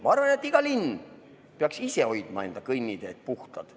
Ma arvan, et iga linn peaks ise hoidma enda kõnniteed puhtad.